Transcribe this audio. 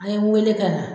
An ye n wele ka na